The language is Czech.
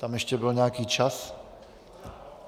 Tam ještě byl nějaký čas...